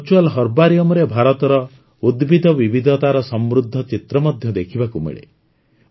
virtual ହର୍ବାରିଅମରେ ଭାରତର ଉଦ୍ଭିଦ ବିବିଧତାର ସମୃଦ୍ଧ ଚିତ୍ର ମଧ୍ୟ ଦେଖିବାକୁ ମିଳେ